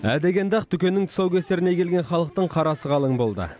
ә дегенде ақ дүкеннің тұсаукесеріне келген халықтың қарасы қалың болды